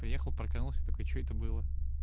приехал парконулся такой что это было